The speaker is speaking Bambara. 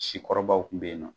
Sikɔrɔbaww kun be ye nɔ